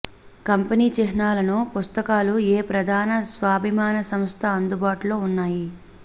company చిహ్నాలను పుస్తకాలు ఏ ప్రధాన స్వాభిమాని సంస్థ అందుబాటులో ఉన్నాయి